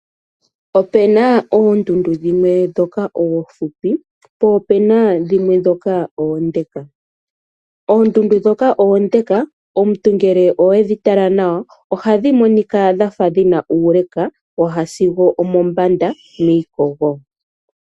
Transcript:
Ope na oondundu dhimwe ndhoka oonfupi po ope na dhimwe ndhoka oonde. Oondundu ndhoka oonde omuntu ngele owe dhitala nawa oha dhi monika dhafa dhina uule waya sigo omombanda miikogo.